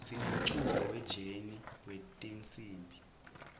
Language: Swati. sinemculo we jeni wetinsimb